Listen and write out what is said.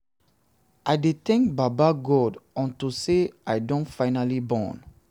i dey thank baba god unto say i don finally born